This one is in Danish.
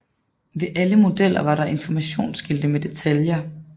Ved alle modeller var der informationsskilte med detaljer